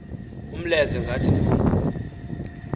umlenze ngathi ngumpu